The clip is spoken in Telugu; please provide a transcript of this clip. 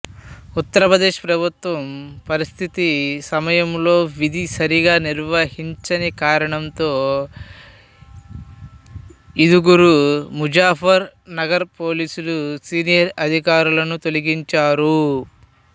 ఉత్తరప్రదేశ్ ప్రభుత్వం పరిస్థితి సమయంలో విధి సరిగా నిర్వహించని కారణంతో ఇదుగురు ముజఫర్ నగర్ పోలీసులు సీనియర్ అధికారులను తొలగించారు